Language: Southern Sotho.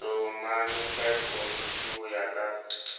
hlomamisa dikomiti ho ya ka